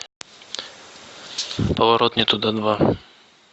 поворот не туда два